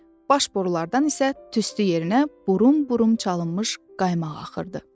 Baş borulardan isə tüstü yerinə burum-burum çalınmış qaymaq axırdı.